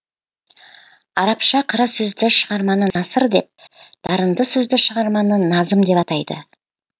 арабша қара сөзді шығарманы насыр деп дарынды сөзді шығарманы назым деп атайды